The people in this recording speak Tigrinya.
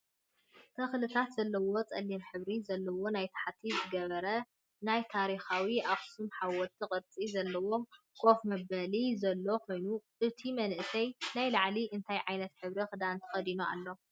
ተክልታት ዘለዎ ፀሊም ሕብሪ ዘለዎ ናይ ታሕቲ ዝገበረን ናይ ታሪካዊት ኣክሱም ሓወልት ቅርፂ ዘለዎ ከፍ መበሊንዘሎ ኮይኑ እቱይ መንእሰይ ናይ ላዕሊ እንታይ ዓይነት ሕብሪ ክዳን ተከዲኑ ኣሎ?